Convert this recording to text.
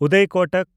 Uday Kotak